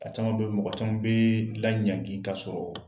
A caman be mɔgɔ caman bee laɲangi k'a sɔrɔ